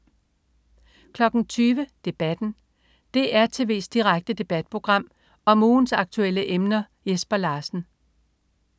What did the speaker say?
20.00 Debatten. DR tv's direkte debatprogram om ugens aktuelle emner. Jesper Larsen